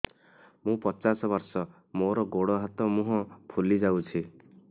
ମୁ ପଚାଶ ବର୍ଷ ମୋର ଗୋଡ ହାତ ମୁହଁ ଫୁଲି ଯାଉଛି